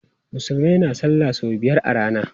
Musulmai na salla sau biyar a rana.